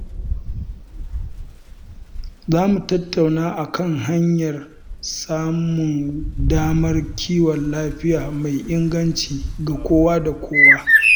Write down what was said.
Za mu tattauna kan hanyar samun damar kiwon lafiya mai inganci ga kowa da kowa.